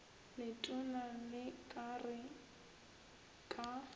letona le ka re ka